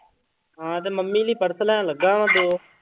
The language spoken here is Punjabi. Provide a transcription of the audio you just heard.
ਹਾਂ ਤੇ ਮੰਮੀ ਲਈ ਪਰਸ ਲੈਣ ਲੱਗਾ ਵਾਂ ਦੋ।